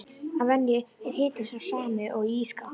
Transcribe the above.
Að venju er hitinn sá sami og í ís skáp.